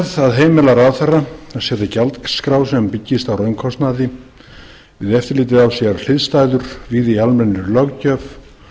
að heimila ráðherra að setja gjaldskrá sem byggist á raunkostnaði við eftirlitið á sér hliðstæður víða í almennri löggjöf